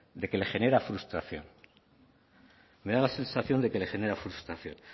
de que le genera frustración me da la sensación de que le genera frustración